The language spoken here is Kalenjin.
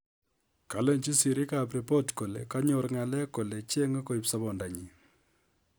Kalenchi sirik ap ripot kole konyor ngalek kole chenge koip sopondo nyi